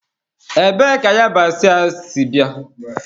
Ebee ka yabasị a sị bịa?